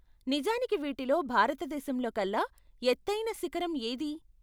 నిజానికి వీటిలో భారతదేశంలోకల్లా ఎత్తైన శిఖరం ఏది?